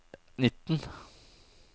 nitten